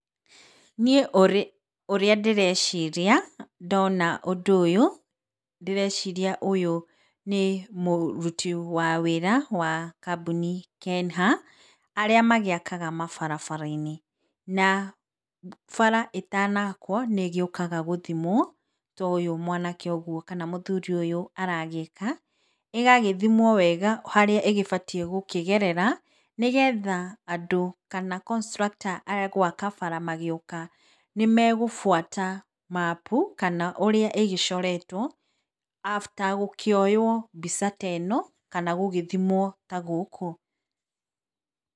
Niĩ ũrĩa ndĩreciria ndona ũndũ ũyũ, ndĩreciria ũyũ nĩ mũruti wa wĩra wa kambuni Kenha arĩa magĩakaga mabarabara-inĩ na bara ĩtanakwo nĩ ĩgĩũkaga gũthimwo ta ũyũ mwanake ũguo kana mũthuri ũyũ aragĩka, ĩgagĩthimwo wega harĩa ĩgĩbatie gũkĩgerara nĩgetha andũ kana constructor agwaka bara magĩoka nĩ magũbũata mabu kana ũrĩa ĩgĩcoretwo after gũkĩoywo mbica ta ĩno kana gũgĩthimwo ta gũkũ.